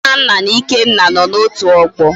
Nnanna na Ikenna no na otu ogbo